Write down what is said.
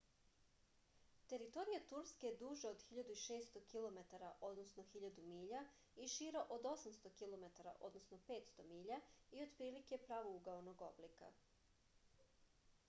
територија турске је дужа од 1600 километара 1000 миља и шира од 800 km 500 mi и отприлике је правоугаоног облика